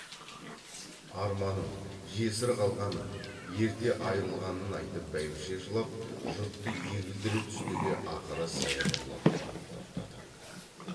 арманын жесір қалғанын ерте айрылғанын айтып бәйбіше жылап жұртты егілдіре түсті де ақыры саябырлап барып тоқтады